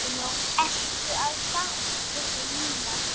Ertu að fara? spurði Nína.